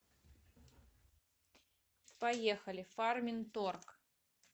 поехали фарминторг